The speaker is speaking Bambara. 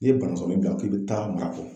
N'i ye banakɔrɔnin bila k'i bi taa marakɔ.